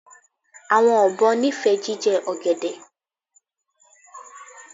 Awọn obo nifẹ jijẹ ogede